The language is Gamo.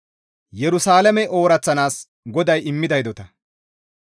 Qasseka Ubbaafe Wolqqama GODAY taakko yides;